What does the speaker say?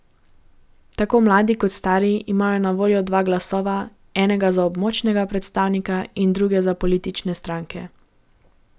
Tako mladi kot stari imajo na voljo dva glasova, enega za območnega predstavnika in drugega za politične stranke.